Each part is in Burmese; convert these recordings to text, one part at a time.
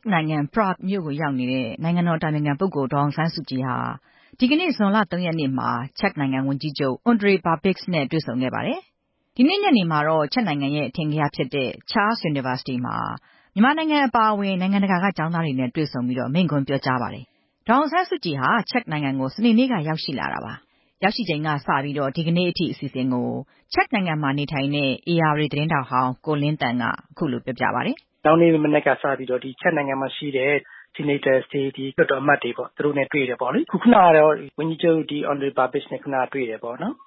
က်နိုင်ငံ ပရာ့ဂ်မြို့ကို ရောက်ရှိနေတဲ့ နိုင်ငံတော်အတိုင်ပင်ခံပုဂ္ဂိုလ် ဒေါ်အောင်ဆန်းစုကြည်ဟာ ဒီကနေ့ ဇွန်လ ၃ ရက်နေ့မှာ ချက်နိုင်ငံ ဝန်ကြီးချုပ် အွန်ဒရေး ဘာဘစ်ဂျ် နဲ့ တွေ့ဆုံခဲ့ပါတယ်။ ဒီနေ့ ညနေမှာတော့ ချက်နိုင်ငံရဲ့အထင်ကရဖြစ်တဲ့ Charles University မှာ မြန်မာနိုင်ငံအပါအဝင် နိုင်ငံတကာက ကျောင်းသားတွေနဲ့တွေ့ဆုံပြီး မိန့်ခွန်းပြောကြားပါတယ်။ ဒေါ်အောင်ဆန်းစုကြည်ဟာ ချက်နိုင်ငံကို စနေနေ့ကရောက်ရှိလာတာဖြစ်ပါတယ်။ ရောက်ရှိချိန် ကစပြီး ဒီကနေ့အထိ အစီအစဉ်ကို ချက်နိုင်ငံမှာနေထိုင်တဲ့ ဧရာဝတီသတင်းထောက်ဟောင်း ကိုလင်းသန့်က ခုလို ပြောပြပါတယ်။ (နောက်နေ့မနက်ကစပြီး ချက်နိုင်ငံမှာရှိတဲ့ ဆီနိတ်တာတွေ၊ လွှတ်တော်အမတ်တွေနဲ့တွေ့တယ် ပေါ့လေ။ ခုန ကတော့ ဝန်ကြီးချုပ် အွန်ဒရေး ဘာဘစ်ဂျ် နဲ့တွေ့တယ်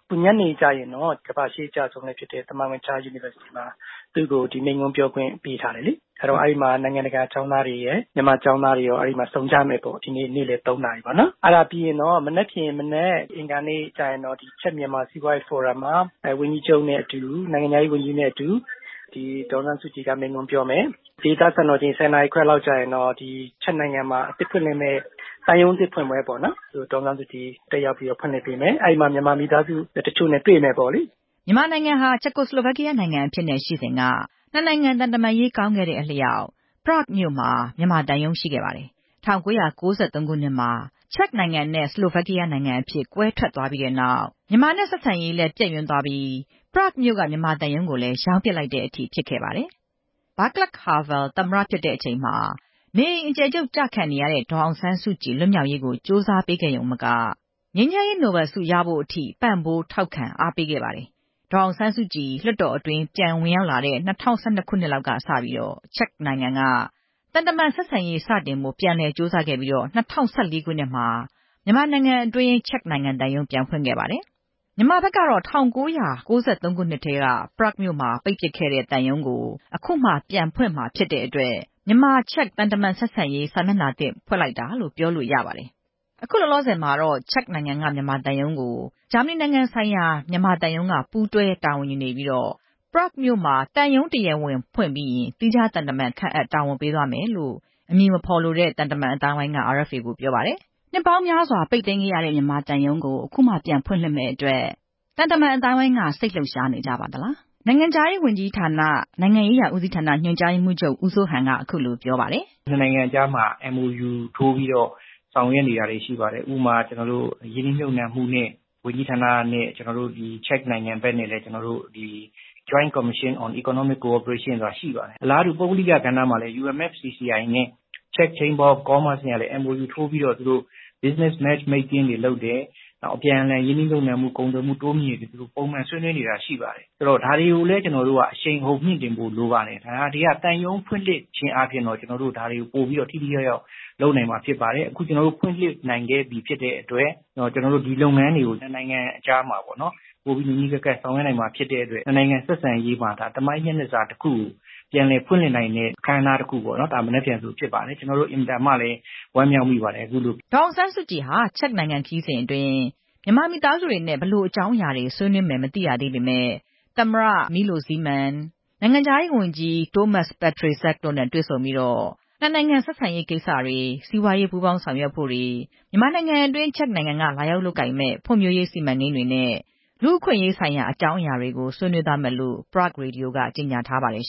။ ညနေကျရင်တော့ ကမ္ဘာ့ ရှေးအကျ ဆုံးဖြစ်တဲ့ သမိုင်းဝင် Charles University မှာ သူ့ကို မိန့်ခွန်း ပြောခွင့်ပေးထားတယ်လေ။ အဲဒီမှာ နိုင်ငံတကာ ကျောင်းသားတွေရယ်၊ မြန်မာကျောင်းသားတွေရော ဒီနေ့ဆုံကြမယ်။ ဒီနေ့ နေ့လယ် ၃ နာရီမှာ။ အဲဒါပြီးရင်တော့ မနက်ဖန် အင်္ဂါနေ့မနက်မှာ ချက်-မြန်မာ စီးပွားရေးဖိုရမ်မှာ ဝန်ကြီးချုပ်နဲ့အတူ၊ နိုင်ငံခြား ရေးဝန်ကြီးနဲ့အတူ ဒေါ်အောင်ဆန်းစုကြည်က မိန့်ခွန်းပြောမယ်။ ဒေသစံတော်ချိန် ၁၀ နာရီခွဲမှာတော့ ချက်နိုင်ငံမှာ အသစ်ဖွင့်မယ့် သံရုံးသစ်ကို ဒေါ်အောင်ဆန်းစုကြည်တက်ဖွင့်လှစ်ပေးမယ်။ အဲဒီမှာ မြန်မာ မိသားစုတချို့နဲ့တွေ့မယ်ပေါ့လေ။) မြန်မာနိုင်ငံဟာ ချက်ကိုစလိုဗက်ကီးယားနိုင်ငံအဖြစ်နဲ့ရှိစဉ်က နှစ်နိုင်ငံသံတမန်ရေးကောင်းခဲ့တဲ့ အလျှောက် ပရာ့ဂ်မြို့မှာ မြန်မာသံရုံးရှိခဲ့ပါတယ်။ ၁၉၉၃ ခုနှစ်မှာ ချက်ခ်နိုင်ငံနဲ့ စလိုဗက်ကီးယားနိုင်ငံ သီးခြားစီကွဲထွက်သွားပြီးတဲ့နောက် မြန်မာနဲ့ဆက်ဆံရေးလည်း ပျက်ယွင်းသွားခဲ့ပြီး မြန်မာသံရုံးကို လည်း ရောင်းပစ်လိုက်တဲ့အထိ ဖြစ်ခဲ့ပါတယ်။ ဗားကလပ်ဟာဗယ်သမ္မတဖြစ်တဲ့အချိန်မှာ နေအိမ်အကျယ်ချုပ်ကျနေတဲ့ ဒေါ်အောင်ဆန်းစုကြည် လွတ်မြောက်ရေးကို ကြိုးစားပေးခဲ့ရုံမက ငြိမ်းချမ်းရေးနိုဘယ်ဆုရဖို့အထိ ပံ့ပိုးထောက်ခံအားပေးခဲ့ ပါတယ်။ ဒေါ်အောင်ဆန်းစုကြည် လွှတ်တော်တွင်းပြန်ဝင်ရောက်လာတဲ့ ၂၀၁၂ လောက်ကစပြီး ချက်နိုင်ငံက သံတမန်ဆက်ဆံရေးစတင်ဖို့ပြန်လည်ကြိုးစားခဲ့ပြီး ၂၀၁၄ မှာ မြန်မာနိုင်ငံအတွင်း သံရုံးပြန်ဖွင့်ခဲ့ပါတယ်။ မြန်မာဘက် ကတော့ ၁၉၉၃ ခုနှစ်ထဲက ပရာ့ခ်မြို့မှာပိတ်ပစ်ခဲ့တဲ့သံရုံးကို အခုမှ ပြန်ဖွင့်မှာဖြစ်တဲ့အတွက် မြန်မာ-ချက် သံတမန်ဆက်ဆံရေးစာမျက်နှာသစ်ဖွင့်လိုက်တာလို့ ပြောလို့ရပါတယ်။ ခုလောလောဆယ်မှာတော့ ချက်နိုင်ငံက မြန်မာသံရုံးကို ဂျာမဏီနိုင်ငံဆိုင်ရာမြန်မာသံရုံးက ပူးတွဲ တာဝန်ယူနေပြီး ပရာ့ဂ်မြို့မှာ သံရုံးတရားဝင်ဖွင့်ပြီးရင် သီးခြားသံတမန်ခန့်အပ်တာဝန်ပေးသွားမယ်လို့ အမည်မဖော်လိုတဲ့ သံတမန်အသိုင်းအဝိုင်းက RFA ကိုပြောပါတယ်။ နှစ်ပေါင်းများစွာပိတ်သိမ်းခဲ့ရတဲ့မြန်မာသံရုံးကို အခုမှ ပြန်ဖွင့်လှစ်ရမယ့်အတွက် သံတမန်အသိုင်း အဝိုင်းက စိတ်လှုပ်ရှားနေကြပါသလား။ နိုင်ငံခြားရေးဝန်ကြီးဌာန၊ နိုင်ငံရေးရာဦးစီးဌာန ညွှန်ကြား ရေးမှူးချုပ် ဦးစိုးဟန်က အခုလိုပြောပါတယ်။ (နှစ်နိုင်ငံကြားမှာ MoU ထိုးပြီးဆောင်ရွက်နေတာတွေရှိပါတယ်။ ဥပမာရင်းနှီးမြုပ်နှံမှုဝန်ကြီးဌာနနဲ့ ချက်နိုင်ငံနဲ့ ကျနော်တို့ Joint Commission on Economic Cooperation ဆိုတာရှိပါတယ်။ အလားတူ ပုဂ္ဂလိက ကဏ္ဍမှာလည်း UNFCCI နဲ့ Czech Chamber of Commerce ကလည်း MoU ထိုးပြီးတော့ Business Match making တွေလုပ်တယ်။ နောက် အပြန်အလှန်ရင်းနှီးမြုပ်နှံမှု၊ ကုန်သွယ်မှုတိုးမြှင့်ရေးတွေ ဆွေးနွေးနေတာတွေ ရှိပါတယ်။ ဒါတွေကိုလည်း ကျနော်တို့က အရှိန်အဟုတ်မြှင့်တင်ဖို့ လိုပါတယ်။ သံရုံးဖွင့်လှစ်ခြင်း အားဖြင့် ဒါတွေက သံရုံးဖွင့်လှစ်ခြင်းအားဖြင့် ပိုပြီးတော့ ထိထိရောက်ရောက်လုပ်နိုင် မှာဖြစ်ပါတယ်။ အခု ဖွင့်လှစ်နိုင်ခဲ့ပြီ ဖြစ်တဲ့အတွက် ဒီလုပ်ငန်းတွေကို နှစ်နိုင်ငံအကြားမှာ ပိုပြီး နီးနီးကပ်ကပ်ဆောင်ရွက်နိုင်မှာဖြစ်တဲ့အတွက် နှစ်နိုင်ငံဆက်ဆံရေးမှာသမိုင်းမျက်နှာစာတခုကို ပြန်လည်ဖွင့်လှစ်နိုင်တဲ့ အခမ်းအနားတခုပေါ့နော်။ ဒါဟာ မနက်ဖန်မှာ ဖြစ်ပါတယ်။ ဒီအတွက် ကျနော်တို့ အင်မတန်ဝမ်းမြောက်မိပါတယ်။) ဒေါ်အောင်ဆန်းစုကြည်ဟာ ချက်နိုင်ငံခရီးစဉ်အတွင်း မြန်မာမိသားစုတွေနဲ့ ဘယ်လိုအကြောင်း အရာတွေ ဆွေးနွေးမယ်မသိရသေးပေမဲ့ သမ္မတ မီးလိုဇီးမန် ၊ နိုင်ငံခြားရေးဝန်ကြီး တိုးမတ်စ် ပက်ထရေ ဇက် တို့နဲ့ တွေ့ဆုံပြီး နှစ်နိုင်ငံဆက်ဆံရေးကိစ္စတွေ၊ စီးပွားရေးပူးပေါင်းဆောင်ရွက်ဖို့တွေ၊ မြန်မာနိုင်ငံအတွင်း ချက်နိုင်ငံက လာရောက်လုပ်ကိုင်မယ့် ဖွံဖြိုးရေးစီမံကိန်းတွေနဲ့ လူ့အခွင့်အရေးဆိုင်ရာ အကြောင်းအရာတွေကို ဆွေးနွေးသွားမယ်လို့ ပရာ့ဂ် ရေဒီယိုက ကြေညာထားပါတယ်